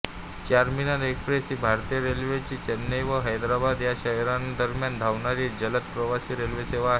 Charminar express ही भारतीय रेल्वेची चेन्नई व हैदराबाद ह्या शहरांदरम्यान धावणारी जलद प्रवासी रेल्वेसेवा आहे